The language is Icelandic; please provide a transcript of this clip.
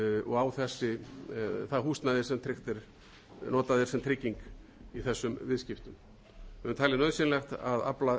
og á það húsnæði sem tryggt er og notað er sem trygging í þessum viðskiptum við höfum talið nauðsynlegt að afla